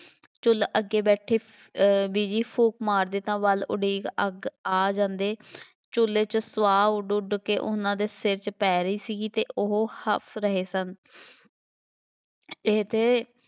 ਚੁਲ੍ਹੇ ਅੱਗੇ ਬੈਠੇ ਅਹ ਬੀਜੀ ਫੂਕ ਮਾਰਦੇ ਤਾਂ ਵਾਲ ਉੱਡ ਅੱਗੇ ਆ ਜਾਂਦੇ, ਚੁੱਲ੍ਹੇ 'ਚ ਸਵਾਹ ਉੱਡ ਉੱਡ ਕੇ ਉਹਨਾ ਦੇ ਸਿਰ ਵਿੱਚ ਪੈ ਰਹੀ ਸੀਗੀ ਅਤੇ ਉਹ ਹਫ ਰਹੇ ਸਨ ਇਹ ਤੇ